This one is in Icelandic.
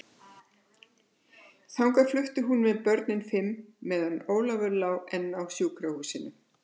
Þangað flutti hún með börnin fimm, meðan Ólafur lá enn á sjúkrahúsinu.